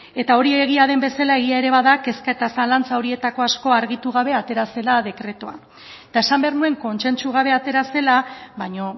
eta hori egia den bezala egia ere bada kezka eta zalantza horietako asko argitu gabe atera zela dekretua eta esan behar nuen kontsentsu gabe atera zela baino